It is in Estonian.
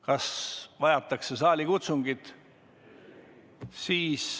Kas vajatakse saalikutsungit?